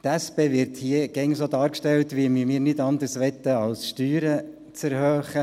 Wir von der SP werden hier immer so dargestellt, als ob wir nichts anderes wollten, als die Steuern zu erhöhen.